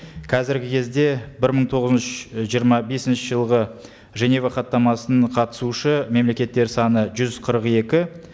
қазіргі кезде бір мың жиырма бесінші жылғы женева хаттамасының қатысушы мемлекеттер саны жүз қырық екі